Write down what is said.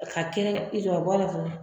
Ka kɛ